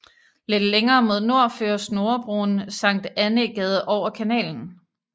Lidt længere mod nord fører Snorrebroen Sankt Annæ Gade over kanalen